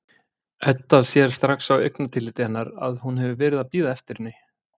Edda sér strax á augnatilliti hennar að hún hefur verið að bíða eftir henni.